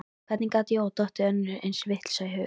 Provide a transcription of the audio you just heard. Hvernig gat Jóa dottið önnur eins vitleysa í hug?